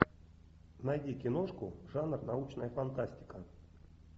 найди киношку жанр научная фантастика